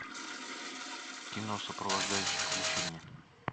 кино сопровождающий включи мне